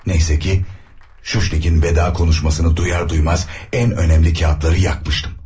Neyse ki, Shushnik'in veda konuşmasını duyar duymaz en önemli kağıtları yakmıştım.